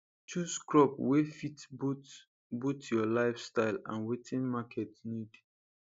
chose crop wey fit both both your life style and watin market need